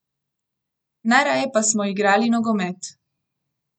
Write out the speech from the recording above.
Najraje pa smo igrali nogomet.